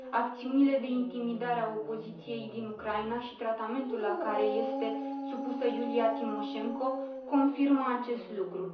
Acțiunile de intimidare a opoziției din Ucraina și tratamentul la care este supusă Iulia Timoșenko confirmă acest lucru.